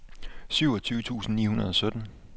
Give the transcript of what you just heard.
syvogtyve tusind ni hundrede og sytten